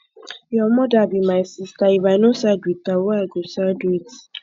your mother be my sister if i no side with her who i go side with